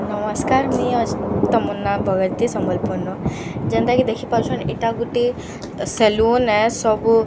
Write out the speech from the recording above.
ନମସ୍କାର ମୁଁଇ ଆଜ ତମନ୍ନା ବଗର୍ତ୍ତୀ ସମ୍ବଲପୁର ନୁ ଯେନ୍ତା କି ଦେଖି ପାରୁଛନ ଏଟା ଗୁଟେ ସେଲୁନ ଏ ସବୁ ମି--